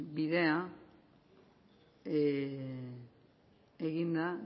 bidea eginda